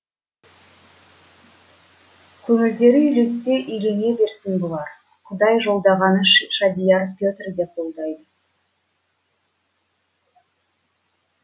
көңілдері үйлессе үйлене берсін бұлар құдай жолдағанды шадияр петр де қолдайды